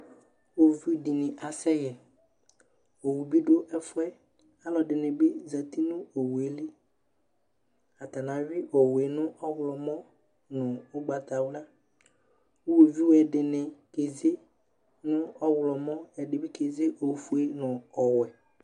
iwɔviʋ dini asɛ yɛ, ɔwʋ bidʋ ɛƒʋɛ alɔdini bi zati nʋ ɔwʋɛli, atani awi ɔwʋɛ nʋ ɔwlɔmɔ nʋ ɔgbatawla, iwɔviʋɛ dini kɛzɛ nʋ ɔwlɔmɔ ɛdini bikɛzɛ nʋ ɔƒʋɛ nʋ ɔwɛ